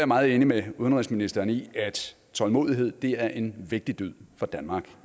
meget enig med udenrigsministeren i at tålmodighed er en vigtig dyd for danmark